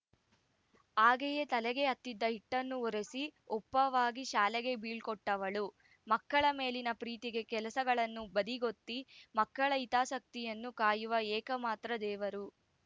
ಹಾಗೆಯೇ ತಲೆಗೆ ಹತ್ತಿದ ಹಿಟ್ಟನ್ನು ಒರೆಸಿ ಒಪ್ಪವಾಗಿ ಶಾಲೆಗೆ ಬೀಳ್ಕೊಟ್ಟವಳು ಮಕ್ಕಳ ಮೇಲಿನ ಪ್ರೀತಿಗೆ ಕೆಲಸಗಳನ್ನು ಬದಿಗೊತ್ತಿ ಮಕ್ಕಳ ಹಿತಾಸಕ್ತಿಯನ್ನು ಕಾಯುವ ಏಕಮಾತ್ರ ದೇವರು